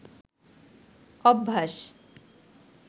অভ্যাস